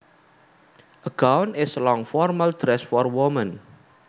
A gown is a long formal dress for women